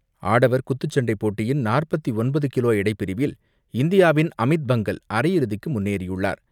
ஆடவர் குத்துச்சண்டை போட்டியின் நாற்பத்து ஒன்பது கிலோ எடைப்பிரிவில் இந்தியாவின் அமித் பங்கல், அரையிறுதிக்கு முன்னேறியுள்ளார்.